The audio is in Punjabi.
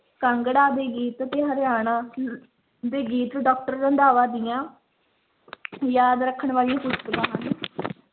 ਕਾਂਗੜਾ ਦੇ ਗੀਤ ਤੇ ਹਰਿਆਣਾ ਦੇ ਗੀਤ doctor ਰੰਧਾਵਾ ਦੀਆਂ ਯਾਦ ਰੱਖਣ ਵਾਲੀਆਂ ਪੁਸਤਕਾਂ ਹਨ